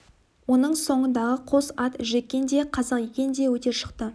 оның соңындағы қос ат жеккен де қазақ екен да өте шықты